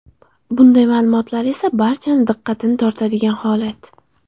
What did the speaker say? Bunday ma’lumotlar esa barchani diqqatini tortiradigan holat.